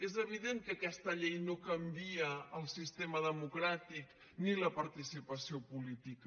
és evident que aquesta llei no canvia el sistema democràtic ni la participació política